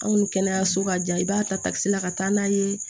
Anw ni kɛnɛyaso ka jan i b'a takisi la ka taa n'a ye